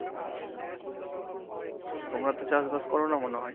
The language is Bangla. তো তোমরা তো চাষ বাস করো না মনে হয়।